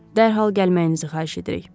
Dərhal gəlməyinizi xahiş edirik.